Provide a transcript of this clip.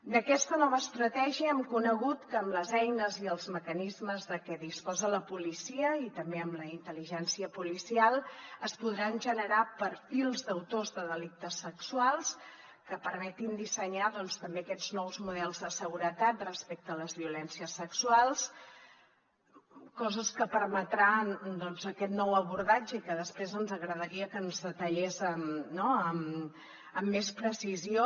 d’aquesta nova estratègia hem conegut que amb les eines i els mecanismes de què disposa la policia i també amb la intel·ligència policial es podran generar perfils d’autors de delictes sexuals que permetin dissenyar també aquests nous models de seguretat respecte a les violències sexuals coses que permetran doncs aquest nou abordatge i que després ens agradaria que ens detallés amb més precisió